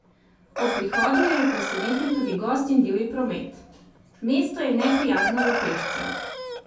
Ob prihodu jo je presenetil tudi gost in divji promet: "Mesto je neprijazno do pešcev.